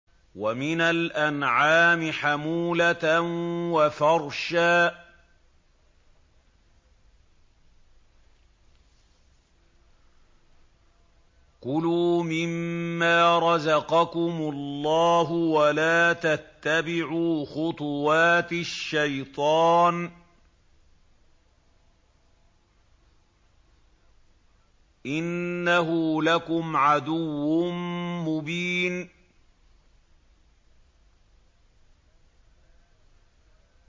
وَمِنَ الْأَنْعَامِ حَمُولَةً وَفَرْشًا ۚ كُلُوا مِمَّا رَزَقَكُمُ اللَّهُ وَلَا تَتَّبِعُوا خُطُوَاتِ الشَّيْطَانِ ۚ إِنَّهُ لَكُمْ عَدُوٌّ مُّبِينٌ